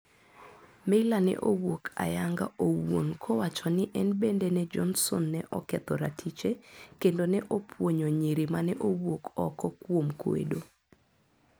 Meyler ne owuok ayanga owuon kowacho ni en bende ne Johnson ne oketho ratiche kendo ne opuonyo nyiri mane owuok oko kuom kwedo.